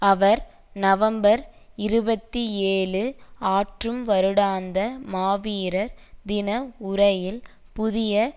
அவர் November இருபத்தி ஏழு ஆற்றும் வருடாந்த மாவீரர் தின உரையில் புதிய